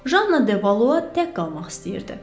Janna Devalo tək qalmaq istəyirdi.